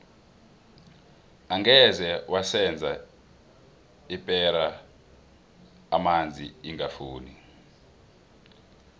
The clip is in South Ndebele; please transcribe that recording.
angeze waseza ipera amanzi ingafuni